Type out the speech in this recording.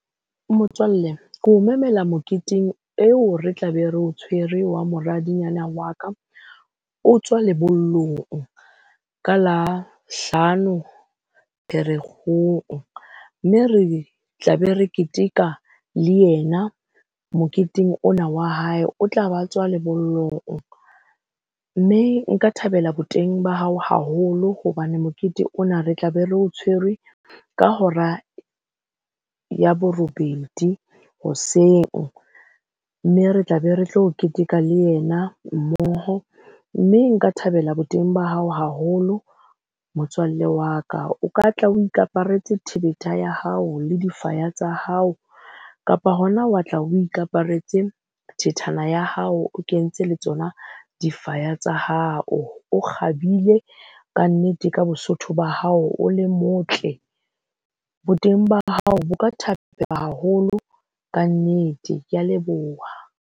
Motswalle keo memela moketeng eo re tla be re o tshwere wa moradinyana wa ka, o tswa lebollong ka la hlano Pherekgong. Mme re tla be re keteka le yena moketeng ona wa hae. O tla ba tswa lebollong mme nka thabela boteng ba hao haholo hobane mokete ona re tla be re o tshwerwe ka hora ya borobedi hoseng. Mme re tla be re tlo keteka le yena mmoho mme nka thabela boteng ba hao haholo motswalle wa ka. O ka tla o thebetha ya hao le difaya tsa hao, kapa hona wa tla o ikaparetse thethana ya hao o kentse le tsona difaya tsa hao. O kgabile kannete, ka bosotho ba hao o le motle. Bo teng ba hao bo ka haholo. Kannete kea leboha.